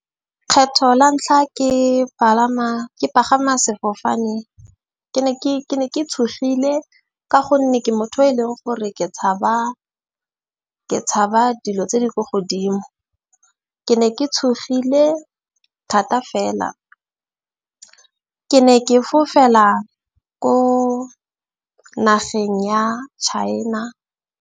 Kgetho la ntlha ke palama, ke pagama sefofane ke ne ke tshogile. Ka gonne ke motho e leng gore ke tshaba, ke tshaba dilo tse di ko godimo. Ke ne ke tshogile thata fela. Ke ne ke fofela ko nageng ya China.